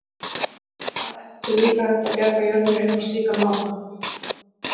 Hvað ætli sé líka hægt að bjarga jörðinni upp á slíkan máta?